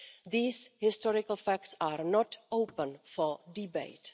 These historical facts are not open for debate.